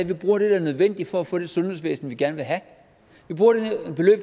vi bruger det der er nødvendigt for at få det sundhedsvæsen vi gerne vil have